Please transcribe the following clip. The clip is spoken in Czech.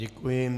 Děkuji.